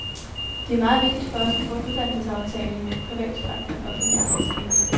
Det er meget vigtigt for os at få en uddannelsesaftale med en privat fremfor en offentlig arbejdsgiver.